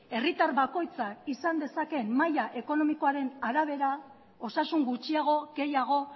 herritar bakoitzak izan dezakeen maila ekonomikoaren arabera osasun gutxiago gehiago